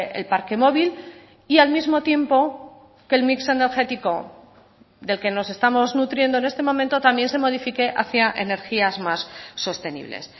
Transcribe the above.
el parque móvil y al mismo tiempo que el mix energético del que nos estamos nutriendo en este momento también se modifique hacia energías más sostenibles